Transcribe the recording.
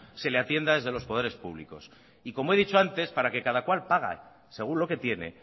se le atienda desde los poderes públicos y como he dicho antes para que cada cual pague según lo que tiene